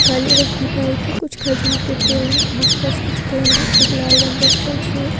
काली रंग की बाइके कुछ खजूर के पेड़ हैं आस-पास कुछ पेड़ है एक लाल रंग का स्टेच्यू है।